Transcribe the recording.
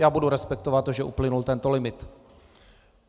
Já budu respektovat to, že uplynul tento limit.